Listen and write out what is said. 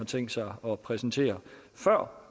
tænkt sig at præsentere før